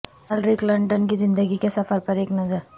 Hillary Clinton کی زندگی کے سفر پر ایک نظر